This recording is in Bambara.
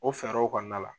O fɛɛrɛw kɔnɔna la